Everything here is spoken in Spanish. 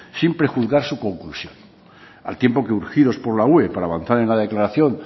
sin prejuzgar su conclusión al tiempo que urgidos por la ue avanzar en la declaración